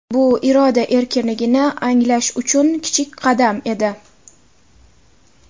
Bu iroda erkinligini anglash uchun kichik qadam edi.